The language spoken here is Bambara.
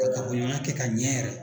Ka kafoɲɔgɔnya kɛ ka ɲɛ yɛrɛ.